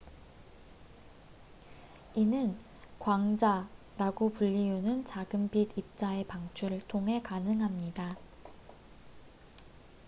이는 "광자""라고 불리우는 작은 빛 입자의 방출을 통해 가능합니다.